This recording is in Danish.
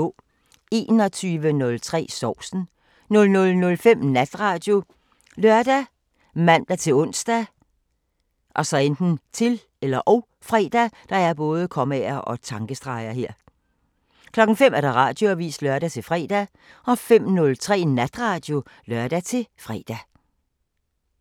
21:03: Sovsen 00:05: Natradio ( lør, man-ons, -fre) 05:00: Radioavisen (lør-fre) 05:03: Natradio (lør-fre)